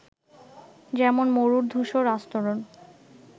যেমন মরুর ধূসর আস্তরন